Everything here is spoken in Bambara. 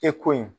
E ko in